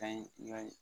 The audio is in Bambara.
Ka ɲi wa